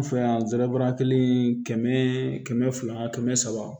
An fɛ yan zerabaara kelen in kɛmɛ kɛmɛ fila kɛmɛ saba